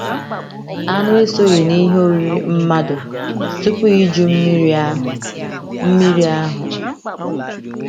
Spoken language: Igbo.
Anụ esoghị n’ihe oriri mmadụ tupu Iju Mmiri ahụ. Mmiri ahụ.